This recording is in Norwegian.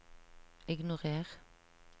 ignorer